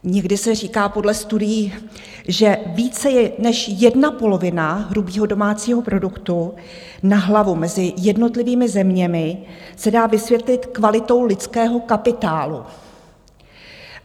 Někdy se říká podle studií, že více než jedna polovina hrubého domácího produktu na hlavu mezi jednotlivými zeměmi se dá vysvětlit kvalitou lidského kapitálu.